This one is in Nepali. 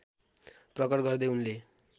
प्रकट गर्दै उनले